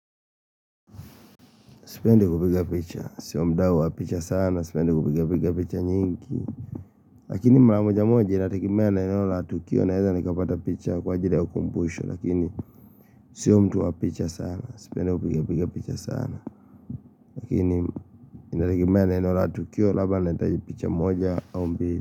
Sipendi kupiga picha. Sio muda wa picha sana. Sipendi kupiga piga picha nyingi. Lakini mara moja moja inategemea na eneo la tukio naeza nikapata picha kwa ajili ukumbusho. Lakini sio mtu wa picha sana. Sipendi kupigapiga picha sana. Lakini inategemea na eneo la tukio labda nitahitaji picha moja au mbili.